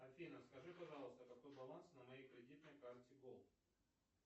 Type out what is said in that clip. афина скажи пожалуйста какой баланс на моей кредитной карте голд